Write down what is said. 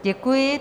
Děkuji.